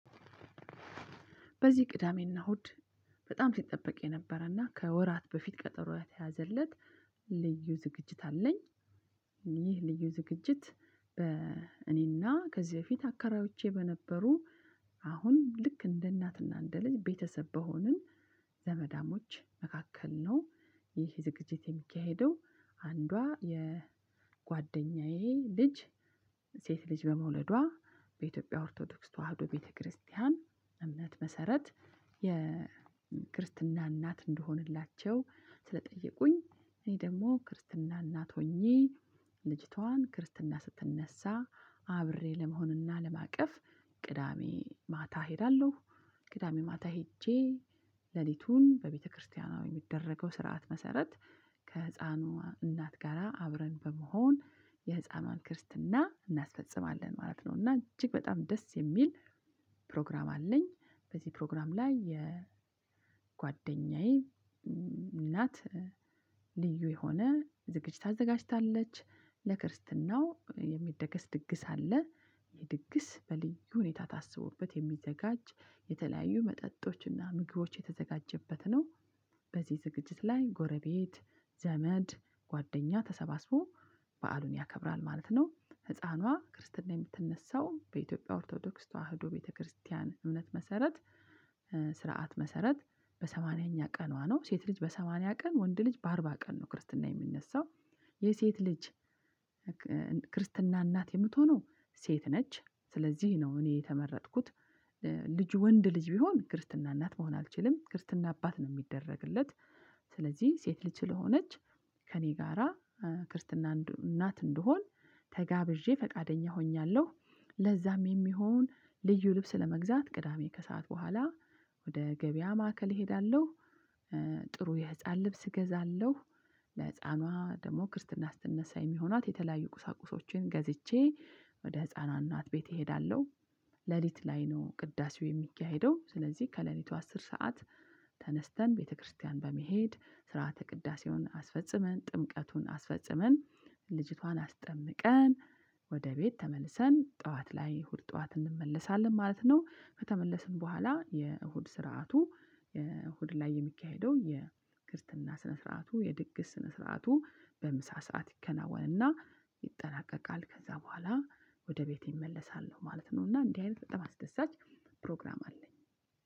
በዚህ ቅዳሜና እሁድ በጣም ሲጠበቅ የነበረና ከወራት በፊት ቀጠሮ የተያዘለት ልዩ ዝግጅት አለኝ። ይህ ልዩ ዝግጅት በ እኔና ከዚህ በፊት አከራዮቼ በነበሩ አሁን ልክ እንደ እናትና እንደ ልጅ ቤተሰብ በሆንን ዘመዳሞች መካከል ነው። ይህ ዝግጅት የሚካሄደው አንዷ የጎደኛዬ ልጅ ሴት ልጅ በመውለዷ በኢትዮጵያ ኦርቶዶክስ ተዋህዶ ቤተክርስቲያን እምነት መሰረት የክርስትና እናት እንድሆንላቸው ስለጠየቁኝ እኔ ደግሞ ክርስትና እናት ሆኜ ልጅቷን ክርስትና ስትነሳ አብሬ ለመሆንና ለማቀፍ ቅዳሜ ማታ እሄዳለሁ ቅዳሜ ማታ ሄጄ ሌሊቱን በቤተክርስቲያንዋ በሚደረገው ስርዓት መሰረት ከህፃኗ እናት ጋራ አብረን በመሆን የህፃኗን ክርስትና እናስፈጽማለን ማለት ነው። እና እጅግ በጣም ደስ የሚል ፕሮግራም አለኝ በዚህ ፕሮግራም ላይ የጓደኛዬ እናት ልዩ የሆነ ዝግጅት አዘጋጅታለች ለክርስትናው የሚደገስ ድግስ አለ። ይህ ድግስ በልዩ ሁኔታ ታስቦበት የሚዘጋጅ የተለያዩ መጠጦችና ምግቦች የተዘጋጀበት ነው። በዚህ ዝግጅት ላይ ጎረቤት ዘመድ ጓደኛ ተሰባስቦ በዓሉን ያከብራል ማለት ነው ህፃኗ ክርስትና የምትነሳው በኢትዮጵያ ኦርቶዶክስ ተዋህዶ ቤተክርስቲያን እምነት መሰረት ስርዓት መሰረት በሰማንያኛ ቀኗ ነው። ሴት ልጅ በሰማንያ ቀን ወንድ ልጅ በአርባ ቀን ነው ክርስትና የሚነሳው የሴት ልጅ ክርስትና እናት የምትሆነው ሴት ነች ስለዚህ ነው እኔ የተመረጥኩት ልጅ ወንድ ልጅ ቢሆን ክርስትና እናት መሆን አልችልም ክርስትና አባት ነው ሚደረግለት ስለዚህ ሴት ልጅ ስለሆነች ከእኔ ጋራ ክርስትና እናት እንድሆን ተጋብዤ ፈቃደኛ ሆኛለሁ ለዛም የሚሆን ልዩ ልብስ ለመግዛት ቅዳሜ ከሰአት በኋላ ወደ ገበያ ማዕከል እሄዳለሁ። ጥሩ የህፃን ልብስ እገዛለሁ ለህፃኗ ደግሞ ክርስትና ስትነሳ የሚሆናት የተለያዩ ቁሳቁሶችን ገዝቼ ወደ ህፃኗ እናት ቤት እሄዳለሁ ሌሊት ላይ ነው ቅዳሴው የሚካሄደው ስለዚህ ከሌሊቱ አስር ሰዓት ተነስተን ቤተክርስቲያን በመሄድ ስርዓተ ቅዳሴውን አስፈጽመን ጥምቀቱን አስፈጽመን ልጅቷን አስጠምቀን ወደ ቤት ተመልሰን ጠዋት ላይ እሁድ ጠዋት እንመለሳለን ማለት ነው። ከተመለስን በኋላ የእሁድ ስርዓቱ የእሁድ ላይ የሚካሄደው የክርስትና ስነ ስርዓቱ የድግስ ስነ ስርዓቱ በምሳ ሰዓት ይከናወንና ይጠናቀቃል ከዛ በኋላ ወደ ቤቴ እመለሳለሁ ማለት ነው እና እንዲህ አይነት በጣም አስደሳች ፕሮግራም አለኝ።